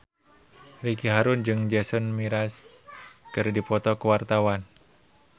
Ricky Harun jeung Jason Mraz keur dipoto ku wartawan